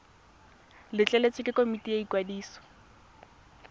letleletswe ke komiti ya ikwadiso